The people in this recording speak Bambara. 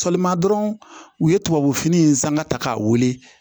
Sɔgɔma dɔrɔn u ye tubabu fini in sanga ta k'a wele